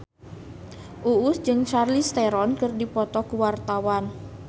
Uus jeung Charlize Theron keur dipoto ku wartawan